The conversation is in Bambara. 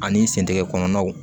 Ani sentigɛ kɔnɔnaw